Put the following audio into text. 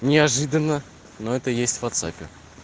неожиданно но это есть в ватсапе